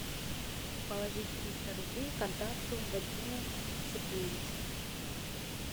положить триста рублей контакту вадиму сергеевичу